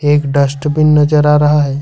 एक डस्टबिन नजर आ रहा है।